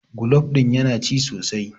golab ɗin yana ci sosai?